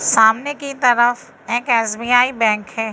सामने की तरफ एक एस_बी_आई बैंक है।